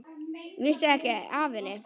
Vissi ekki af henni.